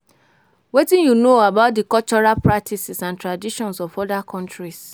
Wetin you know about di cultural practices and traditions of oda countries?